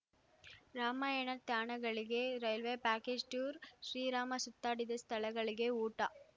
ರಾಮಾಯಣ ತಾಣಗಳಿಗೆ railway package tour Shri Rama ಸುತ್ತಾಡಿದ ಸ್ಥಳಗಳಿಗೆ ಊಟ